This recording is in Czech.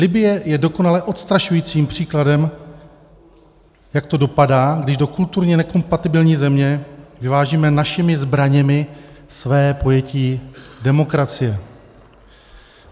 Libye je dokonale odstrašujícím příkladem, jak to dopadá, když do kulturně nekompatibilní země vyvážíme našimi zbraněmi své pojetí demokracie.